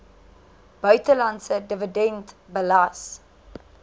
buitelandse dividend belas